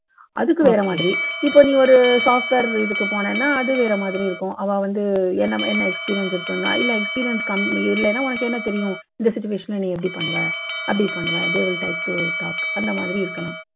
அதுக்கு வேற மாதிரி, இப்போ நீ ஒரு software இதுக்கு போனேன்னா அது வேற மாதிரி இருக்கும். அவா வந்து என்ன experience இருக்குன்னா இல்லை experience இல்லைனா உனக்கு என்ன தெரியும்? இந்த situation ல நீ எப்படி பண்ணுவ? அப்படி பண்ணுவ they would like to talk அந்த மாதிரி இருக்கலாம்.